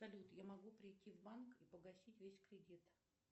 салют я могу прийти в банк и погасить весь кредит